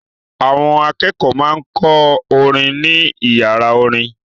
Àwọn akẹ́kọ̀ọ́ máa ń kọ́ orin ní ìyàrá orin.